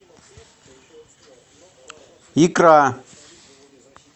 икра